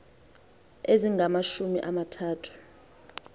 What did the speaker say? ezingamashumi ama thathu